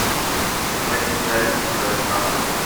заводи киноленту чужая страна